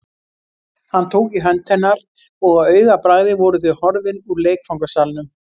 Hann tók í hönd hennar og á augabragði voru þau horfin úr leikfangasalnum.